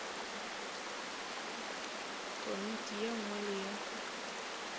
komiti ye nngwe le ye